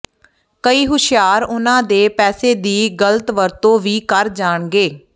ਕਈ ਹੁਸ਼ਿਆਰ ਉਨ੍ਹਾਂ ਦੇ ਪੈਸੇ ਦੀ ਗਲਤ ਵਰਤੋਂ ਵੀ ਕਰ ਜਾਣਗੇ